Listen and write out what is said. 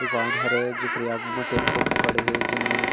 दुकान हरे जेकरे आघू म टेम्पो उमपों खड़े हे जेन म--